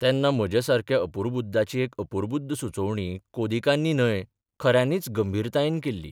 तेन्ना म्हज्यासारक्या अपुर्बुद्दाची एक अपुर्बुद्द सुचोवणी कोदिकांनी न्हय, खऱ्यांनीच गंभीरतायेन केल्ली.